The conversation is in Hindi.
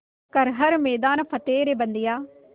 कर हर मैदान फ़तेह रे बंदेया